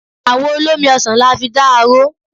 Àwọ olómi ọsàn la fi da aró.